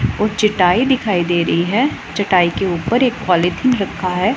और चटाई दिखाई दे रही है चटाई के ऊपर एक पॉलीथिन रखा है।